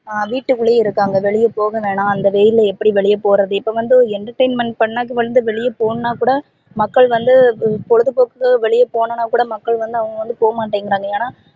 ஹம் வீட்டு குல்லையே இருகாங்க வெளிய போக வேணா அந்த வெயில்ல எப்படி வெளில போறது இப்போ வந்து entertainment பண்ண வெளிய போகனும்னா கூட மக்கள் வந்து பொழுது போக்கு வெளிய போணும்னா கூட மக்கள் வந்து அவங்க வந்து போவமாடிங்கறாங்க ஏனா